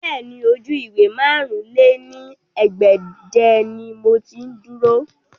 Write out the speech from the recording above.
Bẹ́ẹ̀ni, oju-iwe màrún lé ní ẹgbẹ́je ni mo ti duro